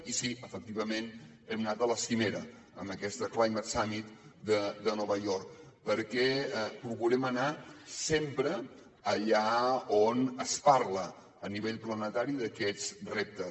i sí efectivament hem anat a la cimera a aquest climate summit de nova york perquè procurem anar sempre allà on es parla a nivell planetari d’aquests reptes